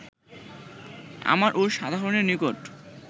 আমার ও সাধারণের নিকট